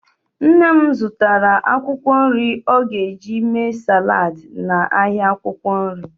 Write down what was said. Nne m zụtara akwụkwọ nri ọ ga-eji mee saladị n'ahịa akwụkwọ nri.